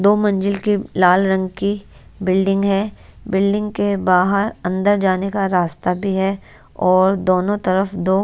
जो मंजिल के लाल रंग की बिल्डिंग है बिल्डिंग के बाहर अंदर जाने का रास्ता भी है और दोनों तरफ दो--